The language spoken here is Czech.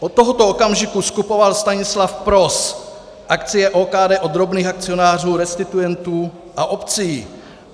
Od tohoto okamžiku skupoval Stanislav Pros akcie OKD od drobných akcionářů, restituentů a obcí.